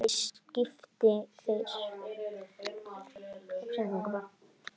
Liðið skipa þeir